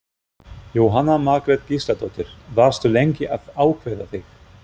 Jóhanna Margrét Gísladóttir: Varstu lengi að ákveða þig?